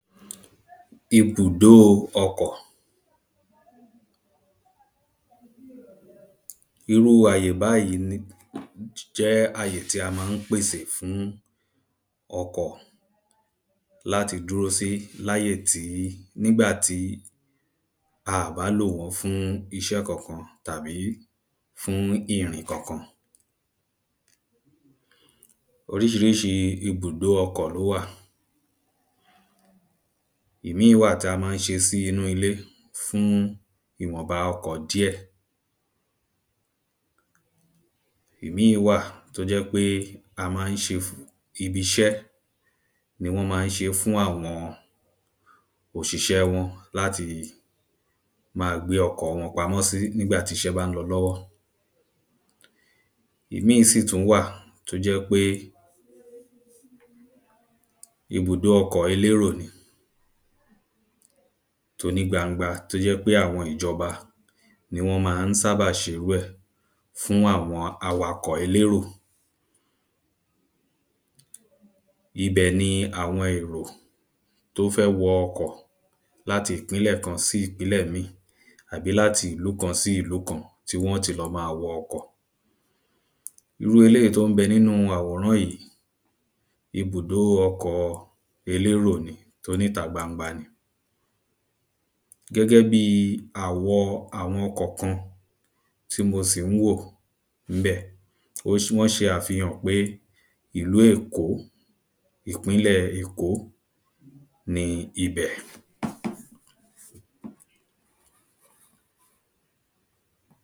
Ibùdo ọkọ̀ irú àyè báyìí jẹ́ àyè tí a ma ń pèsè fún ọkọ̀ láti dúró sí, láyè tí, nígbà tí aà bá lò wọ́n fún iṣẹ́ kọkan tàbí fún ìrìn kọ̀kan Oríṣiríṣi ibùdo ọkọ̀ ló wà ìmíì wà tí a má ń ṣe sínu ilé fún ìwọ̀nba ọkọ̀ díẹ̀ ìmíì wà tó jẹ́ pé a máa ṣe fún ibi iṣẹ́ tí wọ́n maá ṣe fún àwọn òṣìṣẹ́ wọn láti máa gbé ọkọ̀ wọn pamọ́ sí, nígbà tíṣé bá ń lọ lọ́wọ́ ìmíì sí tún wà tó jẹ́ pé ibùdo ọkọ̀ elérò ni tóní gbangba tó jẹ́ pé àwọn ìjọba ni wọ́n ma ń sábà ṣe irú ẹ̀ fún àwọn awakọ̀ elérò ibẹ̀ ni àwọn èrò tó fẹ́ wọ ọkọ̀, láti ìpínlẹ̀ kan sí ìpínlẹ̀ míì àbí láti ìlú kan sí ilú kan tí wọn ti ma máa wọ ọkọ̀. irú eléyìí tó ń bẹ nínu àwòrán yìí, ibùdo ọkọ̀ elérò ni toní ìta gbangba ni gẹ́gẹ́ bíi àwọ àwọn kọ̀ọ̀kan tí mò sì ń wò níbẹ̀ wọ́n ṣe àfihàn pé ìlú èkó, ìpínlẹ èkó ni ibẹ̀